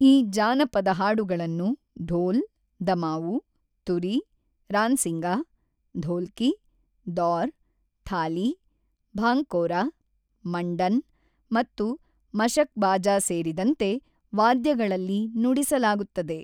ಈ ಜಾನಪದ ಹಾಡುಗಳನ್ನು ಢೋಲ್, ದಮಾವು, ತುರಿ, ರಾನ್ಸಿಂಗಾ, ಧೋಲ್ಕಿ, ದೌರ್, ಥಾಲಿ, ಭಾಂಕೋರಾ, ಮಂಡನ್ ಮತ್ತು ಮಷಕ್ಬಾಜಾ ಸೇರಿದಂತೆ ವಾದ್ಯಗಳಲ್ಲಿ ನುಡಿಸಲಾಗುತ್ತದೆ.